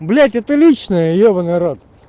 блять это личное ебанный рот